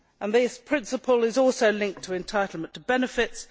This principle is also linked to entitlement to benefits.